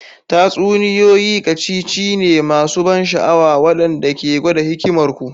Tatsuniyoyi ƙacicici ne masu ban sha'awa waɗanda ke gwada hikimar ku.